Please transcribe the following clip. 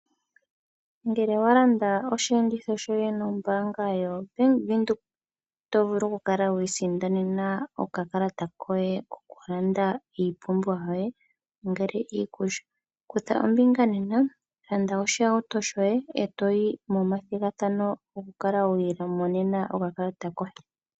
Ngele owa landa osheenditho shoye nombaanga yoBank Windhoek, oto vulu oku kala wi isindanena okakalata koye koku landa iipumbiwa yoye, ongele iikulya. Kutha ombinga nena, landa oshihauto shoye e to yi momathigathano oku kala wi imonena okakalata koye.